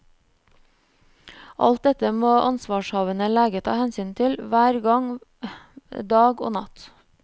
Alt dette må ansvarshavende lege ta hensyn til, hver gang, dag og natt.